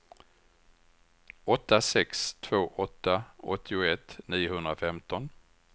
åtta sex två åtta åttioett niohundrafemton